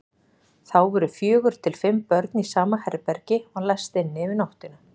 Þá voru fjögur til fimm börn í sama herbergi og læst inni yfir nóttina.